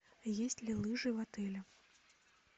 есть ли лыжи в отеле